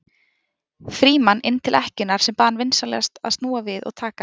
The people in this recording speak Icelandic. Frímann inn til ekkjunnar sem bað hann vinsamlega að snúa við og taka